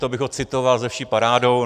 To bych ho citoval se vší parádou.